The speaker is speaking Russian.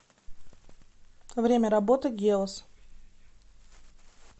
время работы геос